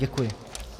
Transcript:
Děkuji.